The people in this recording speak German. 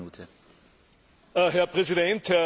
Herr Präsident, Frau Kommissarin!